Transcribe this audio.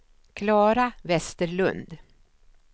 Klara Vesterlund